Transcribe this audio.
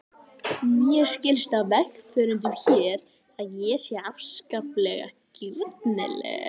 Mér skilst á vegfarendum hér að ég sé afskaplega girnileg.